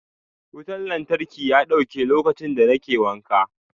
Wutan lantarki ya dauke lokaci da ne ke wanka.